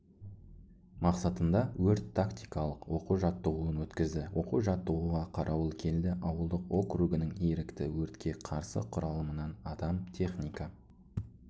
мақсатында өрт-тактикалық оқу-жаттығуын өткізді оқу жаттығуға қарауылкелді ауылдық округінің ерікті өртке қарсы құралымынан адам техника